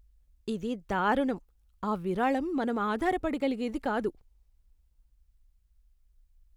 ఇది దారుణం! ఆ విరాళం మనం ఆధారపడగలిగేది కాదు.